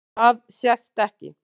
Það sést ekki.